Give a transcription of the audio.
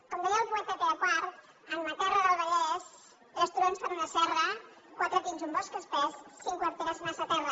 com deia el poeta pere quart en ma terra del vallès tres turons fan una serra quatre pins un bosc espès cinc quarteres massa terra